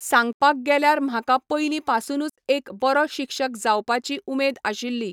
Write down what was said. सांगपाक गेल्यार म्हाका पयलीं पासुनूच एक बरो शिक्षक जावपाची उमेद आशिल्ली.